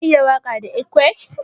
Ka iya waka da ekwe?